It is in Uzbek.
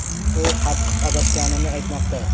U qattiq adashganini aytmoqda.